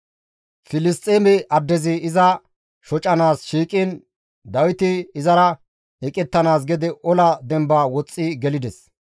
Filisxeeme addezi iza shocanaas shiiqiin Dawiti izara eqettanaas gede ola demba woxxi gelides.